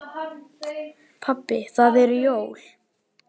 Pabbi það eru jól.